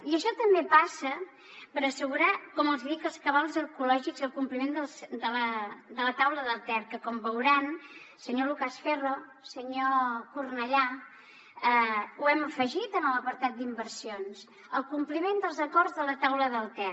i això també passa per assegurar com els hi dic els cabals ecològics i el compliment de la taula del ter que com veuran senyor lucas ferro senyor cornellà ho hem afegit en l’apartat d’inversions el compliment dels acords de la taula del ter